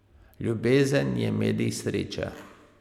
Ljubezen je medij sreče.